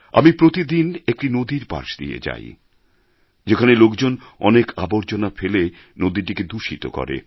আমি প্রতিদিন একটি নদীর পাশ দিয়ে যাই যেখানে লোকজন অনেক আবর্জনা ফেলে নদীটিকে দূষিত করে